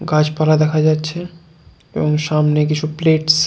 গাছপালা দেখা যাচ্ছে এবং সামনে কিছু প্লেটস ।